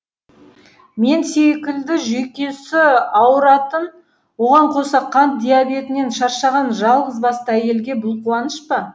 мен секілді жүйкесі ауыратын оған қоса қант диабетінен шаршаған жалғызбасты әйелге бұл қуаныш па